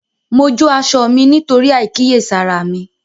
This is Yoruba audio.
Mo jó aṣọ mí nítorí àìkíyèsára mi